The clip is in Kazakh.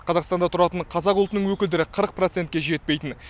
қазақстанда тұратын қазақ ұлтының өкілдері қырық процентке жетпейтін